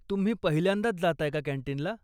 तुम्ही पहिल्यांदाच जाताय का कॅन्टीनला?